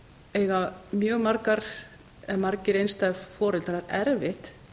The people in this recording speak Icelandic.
eiga mjög margir einstæðir foreldrar erfitt